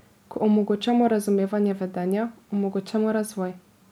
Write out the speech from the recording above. Ko omogočamo razumevanje vedenja, omogočamo razvoj.